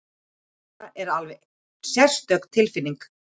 Þetta er alveg sérstök tilfinning!